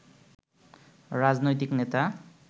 রাজনৈতিক নেতা